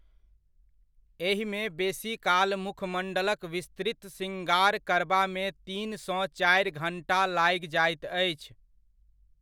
एहिमे बेसीकाल मुखमण्डलक विस्तृत शृङ्गार करबामे तीनसँ चारि घण्टा लागि जाइत अछि।